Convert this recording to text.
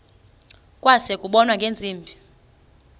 kwase kubonwa ngeentsimbi